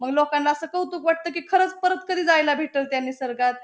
मग लोकांला असं कौतुक वाटतं की खरंच परत कधी जायला भेटल त्या निसर्गात.